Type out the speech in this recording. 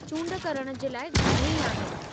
चूंड करण जे लाइ घणई आहिनि।